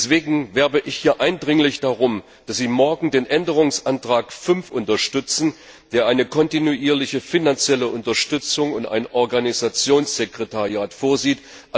Deswegen werbe ich hier eindringlich darum, dass Sie morgen den Änderungsantrag 5 unterstützen, der eine kontinuierliche finanzielle Unterstützung und ein Organisationssekretariat vorsieht.